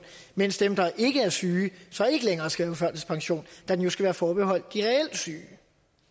mens dem der ikke er syge så ikke længere skal på førtidspension da den jo skal være forbeholdt de reelt syge det